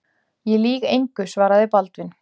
Ég lýg engu, svaraði Baldvin.